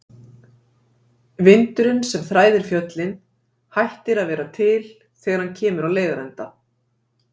Vindurinn, sem þræðir fjöllin, hættir að vera til þegar hann kemur á leiðarenda.